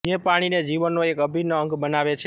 જે પાણીને જીવનનો એક અભિન્ન અંગ બનાવે છે